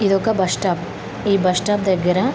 ఇదొక bus stop. ఈ bus stop దగ్గర--